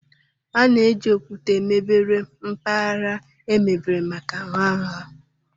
A na-eji okwute emebere mpaghara emebere maka nha nha.